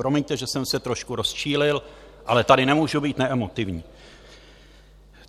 Promiňte, že jsem se trošku rozčílil, ale tady nemůžu být neemotivní.